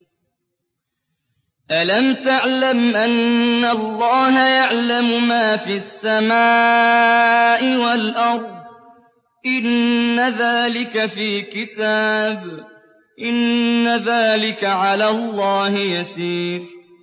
أَلَمْ تَعْلَمْ أَنَّ اللَّهَ يَعْلَمُ مَا فِي السَّمَاءِ وَالْأَرْضِ ۗ إِنَّ ذَٰلِكَ فِي كِتَابٍ ۚ إِنَّ ذَٰلِكَ عَلَى اللَّهِ يَسِيرٌ